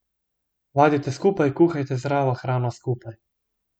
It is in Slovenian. Vadite skupaj, kuhajte zdravo hrano skupaj.